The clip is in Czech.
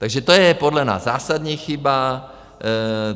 Takže to je podle nás zásadní chyba.